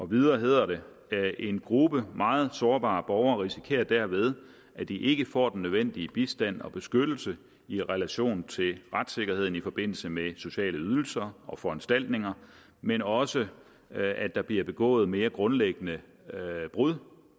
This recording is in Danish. videre hedder det en gruppe meget sårbare borgere risikerer derved at de ikke får den nødvendige bistand og beskyttelse i relation til retssikkerheden i forbindelse med sociale ydelser og foranstaltninger men også at der bliver begået mere grundlæggende brud